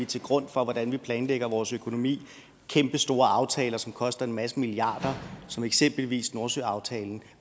til grund for hvordan vi planlægger vores økonomi kæmpestore aftaler som koster en masse milliarder som eksempelvis nordsøaftalen